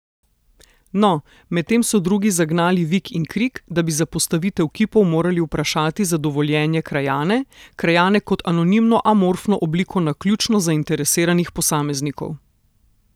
No, medtem so drugi zagnali vik in krik, da bi za postavitev kipov morali vprašati za dovoljenje krajane, krajane kot anonimno amorfno obliko naključno zainteresiranih posameznikov ...